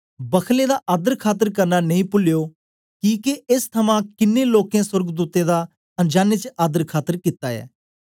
बखलें दा आदरखात्र करना नेई पुलियो किके एस थमां कन्ने लोकें सोर्गदूतें दा अनजाने च आदर खातर कित्ता ऐ